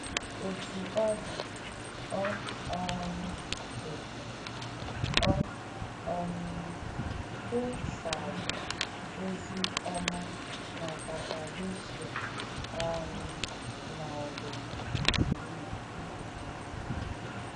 Otú ọ dị, ọ um dị, ọ um kwụsàghị ozi ọma na Kapadoshia um ma ọ bụ Bitinia.